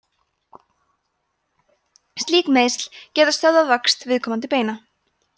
slík meiðsli geta stöðvað vöxt viðkomandi beina